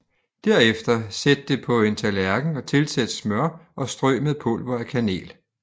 Derefter sæt det på en tallerken og tilsæt smør og strø med pulver af kanel